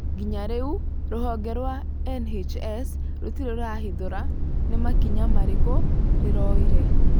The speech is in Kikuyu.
Nginya rĩu rũhonge rwa NHS rũtirĩ rwahithũra nĩ makinya marĩkũ rĩoire.